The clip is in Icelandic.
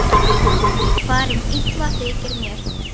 Farin illa þykir mér.